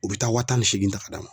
U be taa wa tan ni seegin ta k'a d'a ma.